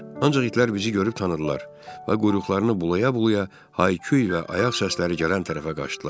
Ancaq itlər bizi görüb tanıdılar və quyruqlarını bulaya-bulaya hay-küy və ayaq səsləri gələn tərəfə qaçdılar.